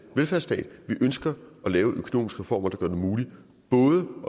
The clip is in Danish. velfærdsstat vi ønsker at lave økonomiske reformer der gør det muligt både